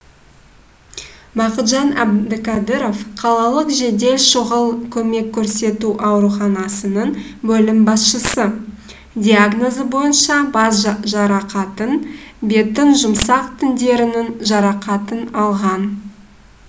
бақытжан әбдіқадыров қалалық жедел шұғыл көмек көрсету ауруханасының бөлім басшысы диагнозы бойынша бас жарақатын беттің жұмсақ тіндерінің жарақатын алған